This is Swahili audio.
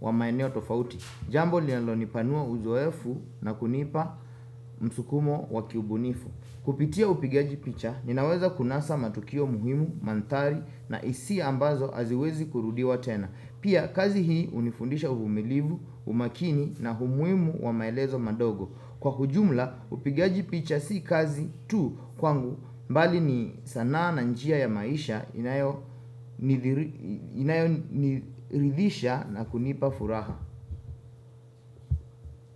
wa maeneo tofauti. Jambo linalonipanua uzoefu na kunipa msukumo wa kiubunifu. Kupitia upigaji picha, ninaweza kunasa matukio muhimu, mandhari na hisi ambazo haziwezi kurudiwa tena. Pia kazi hii hunifundisha umilivu, umakini na umuhimu wa maelezo madogo. Kwa ujumla upigaji picha si kazi tu kwangu mbali ni sanaa na njia ya maisha inayoniridhisha na kunipa furaha.